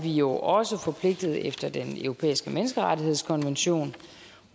jo også forpligtet efter den europæiske menneskerettighedskonvention